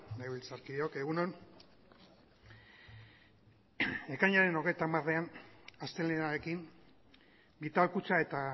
legebiltzarkideok egun on ekainaren hogeita hamarean astelehenarekin vital kutxa eta